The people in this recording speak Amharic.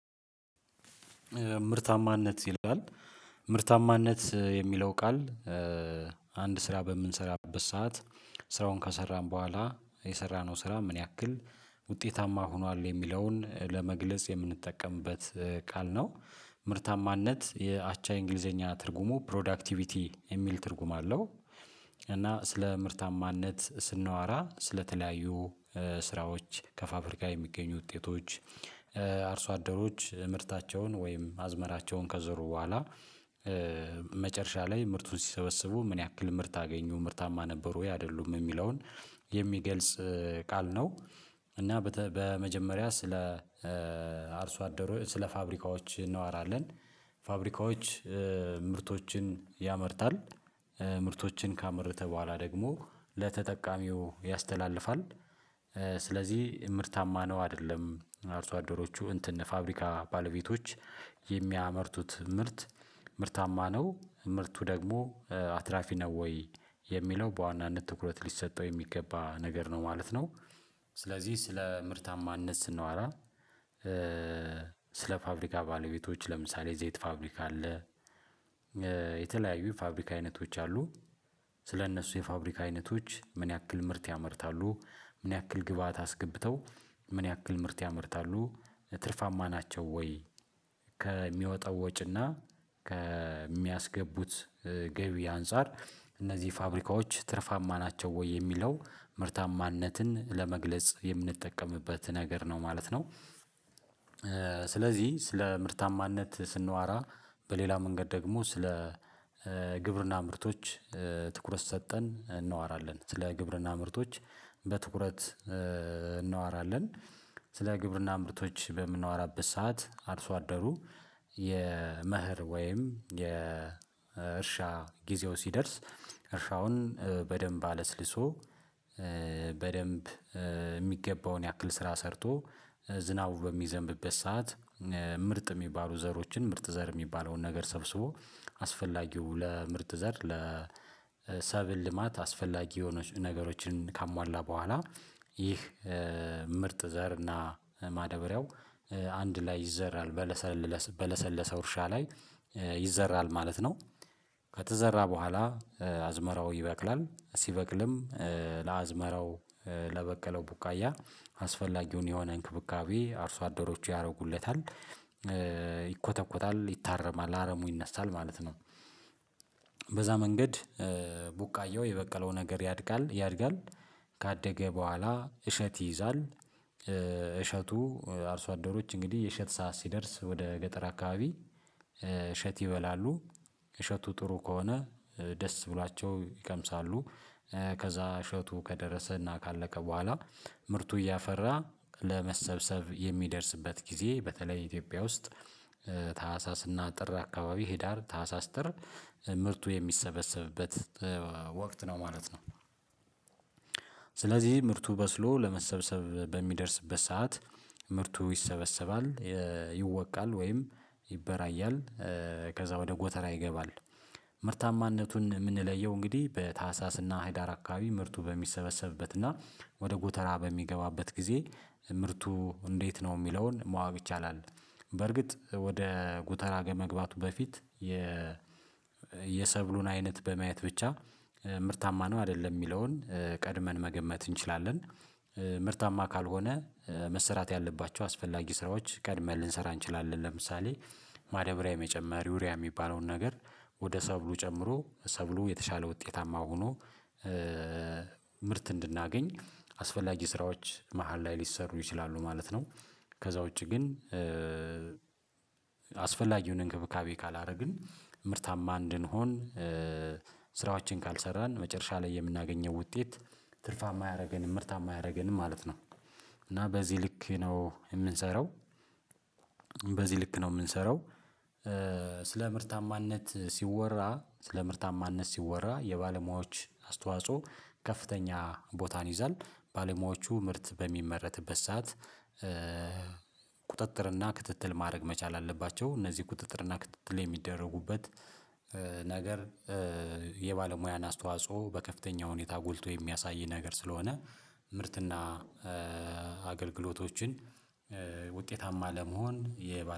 ምርታማነት ይላል ምርታማነት የሚለው ቃል አንድ ስራ በምንሰራበት ሰዓት። ስራውን ከሰራን በኋላ የሰራነው ስራ ምን ያክል ውጤታማ ሆኗል የሚለውን ለመግለጽ የምንጠቀምበት ቃል ነው። ምርታማነት የአቻ እንግሊዘኛ ትርጉሙ ፕሮዳክቲቪቲ የሚል ትርጉም አለው። እና ስለ ምርታማነት ስናወራ ስለተለያዩ ስራዎች ከፋብሪካ የሚገኙ ውጤቶች። አርሶ አደሮች ምርታቸውን ወይም አዝመራቸውን ከዘሩ በኋላ መጨረሻ ላይ ምርቱን ሲሰበስቡ ምን ያክል ምርት አገኙ ምርታማ ነበሩ ወይ አይደሉም የሚለውን የሚገልጽ ቃል ነው። እና በመጀመሪያ ስለ አርሶ አደሩ ስለ ፋብሪካዎች እናዋራለን። ፋብሪካዎች ምርቶችን ያመርታል ምርቶችን ካመረተ በኋላ ደግሞ ለተጠቃሚው ያስተላልፋል። ስለዚህ ምርታማ ነው አይደለም አርሶ አደሮቹ እንትን ፋብሪካ ባለቤቶች የሚያመርቱት ምርት ምርታማ ነው ምርቱ ደግሞ አትራፊ ነው ወይ የሚለው በዋናነት ትኩረት ሊሰጠው የሚገባ ነገር ነው ማለት ነው። ስለዚህ ስለ ምርታማነት ስናዋራ ስለ ፋብሪካ ባለቤቶች ለምሳሌ የዘይት ፋብሪካ አለ። የተለያዩ የፋብሪካ አይነቶች አሉ። ስለእነሱ የፋብሪካ አይነቶች ምን ያክል ምርት ያመርታሉ ምን ያክል ግብአት አስገብተው ምን ያክል ምርት ያመርታሉ ትርፋማ ናቸው ወይ ከሚወጣው ወጪና ከሚያስገቡት ገቢ አንፃር እነዚህ ፋብሪካዎች ትርፋማ ናቸው ወይ የሚለው ምርታማነትን ለመግለጽ የምንጠቀምበት ነገር ነው ማለት ነው። ስለዚህ ስለ ምርታማነት ስንዋራ በሌላ መንገድ ደግሞ ስለ ግብርና ምርቶች ትኩረት ሰጠን እንዋራለን ስለ ግብርና ምርቶች በትኩረት እናወራለን። ስለ ግብርና ምርቶች በምናወራበት ሰዓት አርሶ አደሩ የመህር ወይም የእርሻ ጊዜው ሲደርስ። እርሻውን በደንብ አለስልሶ በደንብ የሚገባውን ያክል ስራ ሰርቶ ዝናቡ በሚዘንብበት ሰዓት ምርጥ የሚባሉ ዘሮችን ምርጥ ዘር የሚባለውን ነገር ሰብስቦ አስፈላጊው ለምርጥ ዘር ለሰብል ልማት አስፈላጊ የሆነች ነገሮችን ካሟላ በኋላ። ይህ ምርጥ ዘር እና ማዳበሪያው አንድ ላይ ይዘራል በለሰለሰ በለሰለሰ እርሻ ላይ ይዘራል ማለት ነው። ከተዘራ በኋላ አዝመራው ይበቅላል ሲበቅልም ለአዝመራው ለበቀለው ቡቃያ አስፈላጊውን የሆነ እንክብካቤ አርሶ አደሮቹ ያረጉለታል። ይኮተኮታል ይታረማል አረሙ ይነሳል ማለት ነው። በዛ መንገድ ቡቃያው የበቀለው ነገር ያድጋል ያድጋል። ካደገ በኋላ እሸት ይይዛል። እሸቱ አርሶ አደሮች እንግዲህ የእሸት ሰዓት ሲደርስ ወደ ገጠር አካባቢ እሸት ይበላሉ እሸቱ ጥሩ ከሆነ ደስ ብሏቸው ይቀምሳሉ። ከዛ እሸቱ ከደረሰና ካለቀ በኋላ ምርቱ እያፈራ ለመሰብሰብ የሚደርስበት ጊዜ በተለይ ኢትዮጵያ ውስጥ ታህሳስ እና ጥር አካባቢ ህዳር ታህሳስ ጥር ምርቱ የሚሰበሰብበት ወቅት ነው ማለት ነው። ስለዚህ ምርቱ በስሎ ለመሰብሰብ በሚደርስበት ሰዓት ምርቱ ይሰበሰባል። ይወቃል ወይም ይበራያል። ከዛ ወደ ጎተራ ይገባል። ምርታማነቱን የምንለየው እንግዲህ በታህሳስ እና ህዳር አካባቢ ምርቱ በሚሰበሰብበት እና ወደ ጎተራ በሚገባበት ጊዜ ምርቱ እንዴት ነው የሚለውን ማወቅ ይቻላል? በርግጥ ወደ ጉተራ ከመግባቱ በፊት የ የሰብሉን አይነት በማየት ብቻ ምርታማ ነው አይደለም የሚለውን ቀድመን መገመት እንችላለን። ምርታማ ካልሆነ መሰራት ያለባቸው አስፈላጊ ስራዎች ቀድመን ልንሰራ እንችላለን ለምሳሌ ማዳበሪያ የመጨመር ዩሪያ የሚባለውን ነገር ወደ ሰብሉ ጨምሮ ሰብሉ የተሻለ ውጤታማ ሆኖ። ምርት እንድናገኝ አስፈላጊ ስራዎች መሃል ላይ ሊሰሩ ይችላሉ ማለት ነው። ከዛ ውጪ ግን አስፈላጊውን እንክብካቤ ካላረግን ምርታማ እንድንሆን ስራዎችን ካልሰራን መጨረሻ ላይ የምናገኘው ውጤት ትርፋማ አያረገንም ምርታማ አያረገንም ማለት ነው። እና በዚህ ልክ ነው የምንሰራው። በዚህ ልክ ነው የምንሰራው። ስለ ምርታማነት ሲወራ ስለ ምርታማነት ሲወራ የባለሙያዎች አስተዋጽኦ ከፍተኛ ቦታን ይይዛል። ባለሙያዎቹ ምርት በሚመረትበት ሰዓት ቁጥጥር እና ክትትል ማድረግ መቻል አለባቸው። እነዚህ ቁጥጥር እና ክትትል የሚደረጉበት ነገር የባለሙያን አስተዋጽኦ በከፍተኛ ሁኔታ ጎልቶ የሚያሳይ ነገር ስለሆነ። ምርትና አገልግሎቶችን ውጤታማ ለመሆን የ